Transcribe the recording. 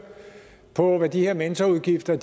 på hvad de her mentorudgifter